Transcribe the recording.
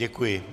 Děkuji.